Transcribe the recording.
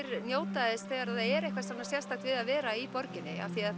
njóta þess þegar það er eitthvað sérstakt við að vera í borginni